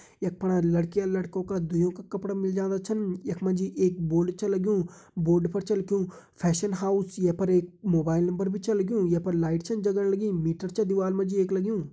यख फणा लड़कीलड़कों दुइयों का कपड़ा मिल जांदा छन यख मा जी एक बोर्ड छ लग्युं बोर्ड पर छ लिख्यूं फैशन हाउस ये पर एक मोबाइल नंबर भी छ लग्युं यख पर लाइट छन जलण लगीं मीटर छ दिवार मा जी एक लग्युं।